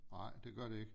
Nej det gør det ikke